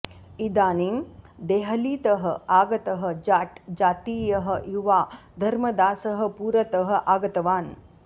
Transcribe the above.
इदानीं देहलीतः आगतः जाट् जातीयः युवा धर्मदासः पुरतः आगतवान्